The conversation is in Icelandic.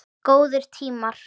Góðir tímar.